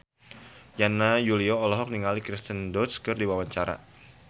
Yana Julio olohok ningali Kirsten Dunst keur diwawancara